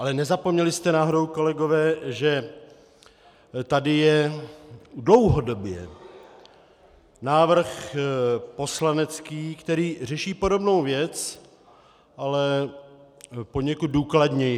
Ale nezapomněli jste náhodou, kolegové, že tady je dlouhodobě návrh poslanecký, který řeší podobnou věc, ale poněkud důkladněji?